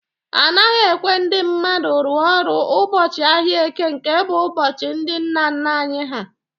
Anaghị ekwe ndị mmadụ rụọ ọrụ ụbọchị ahịa Eke nke bụ ụbọchị ndị nna nna anyị ha